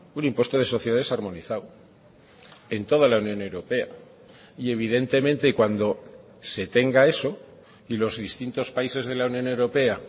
un impuesto de sociedades armonizado en toda la unión europea y evidentemente cuando se tenga eso y los distintos países de la unión europea